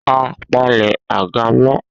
A palẹ̀ àga mọ́